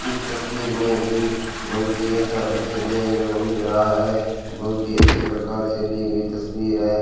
इस तस्वीर में भी बहुत ही अच्छा दृश्य देखने को मिल रहा है बहुत ही अच्छी प्रकार से ली गई तस्वीर है।